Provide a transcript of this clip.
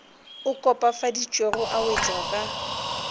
a kopafaditšwego a wetšwa ka